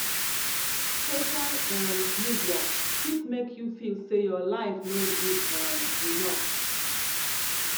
social um media fit make you feel say your life no good um enough